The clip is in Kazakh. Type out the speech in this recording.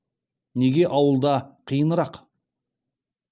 неге ауылда қиынырақ